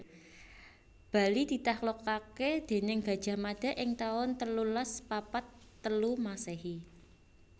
Bali ditaklukaké déning Gajah Mada ing taun telulas papat telu Masèhi